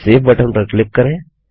अब save button पर click करें